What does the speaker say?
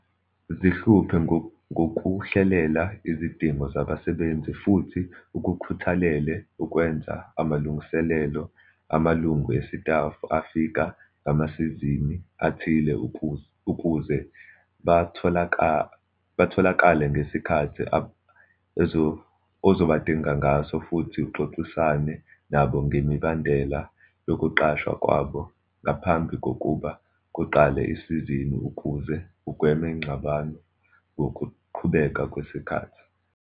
Zihluphe ngokuhlelela izidingo zabasebenzi futhi ukukhuthalele ukwenza amalungiselelo amalungu esitafu afika ngamasizini athile ukuze batholakale ngesikhathi ozobadinga ngaso futhi uxoxisane nabo ngemibandela yokuqashwa kwabo ngaphambi kokuba kuqale isizini ukuze ugweme ingxabano ngokuqhubeka kwesikhathi.